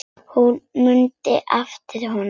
Hún mundi eftir honum.